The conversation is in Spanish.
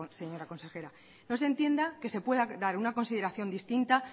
señora consejera no se entienda que se pueda dar una consideración distinta